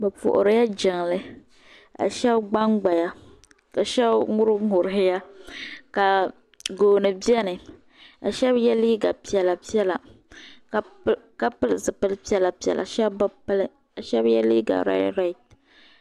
Bi puhirila jiŋli ka shɛb gbangbaya ka shɛb ŋuniŋuniya ka gooni bɛni ka shɛb yiɛ liiga piɛlla piɛlla ka pili zipili piɛlla piɛlla shɛb bi pili ka shɛb yiɛ liiga rɛd rɛd.